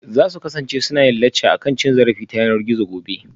Za su kasance suna yin lacca akan cin zarafi ta yanar gizo gobe?